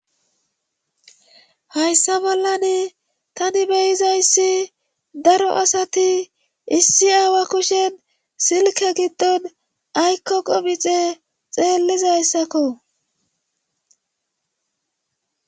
hayssa bollani tani beyizayssi daro asati issi aawa kushen silke giddon aykko qomixe xeellizayssakko